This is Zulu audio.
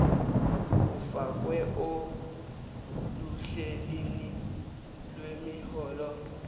ufakwe oluhleni lwemiholo